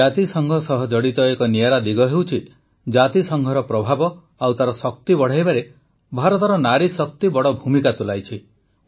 ଜାତିସଂଘ ସହିତ ଜଡ଼ିତ ଏକ ନିଆରା ଦିଗ ହେଉଛି ଜାତିସଂଘର ପ୍ରଭାବ ଓ ତାର ଶକ୍ତି ବଢ଼ାଇବାରେ ଭାରତର ନାରୀଶକ୍ତି ବଡ଼ ଭୂମିକା ତୁଲାଇଛି